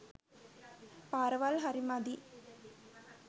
පාරවල් හරි මදි.